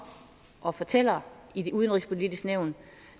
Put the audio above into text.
og fortæller i det udenrigspolitiske nævn